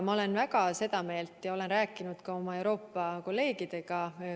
Ma olen väga seda meelt ja olen sellest rääkinud ka oma Euroopa kolleegidega.